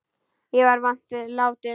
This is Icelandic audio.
Ég er vant við látinn.